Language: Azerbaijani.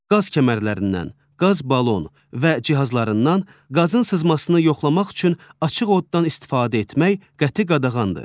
Qaz kəmərlərindən, qaz balon və cihazlarından qazın sızmasını yoxlamaq üçün açıq oddan istifadə etmək qəti qadağandır.